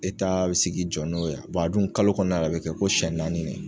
bɛ sigi jɔ n'o ye a cs] a dun kalo kɔnɔna na a bɛ kɛ ko senɲɛ naani ne.